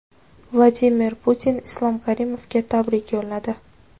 Vladimir Putin Islom Karimovga tabrik yo‘lladi.